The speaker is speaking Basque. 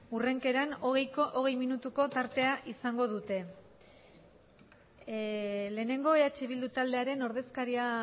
urrenkeran ogeiko ogei minutuko partea izango dute eh lehenengo eh bildu taldearen ordezkaria